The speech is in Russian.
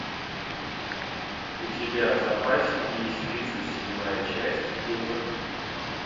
у тебя в запасе есть тридцать седьмая часть лютер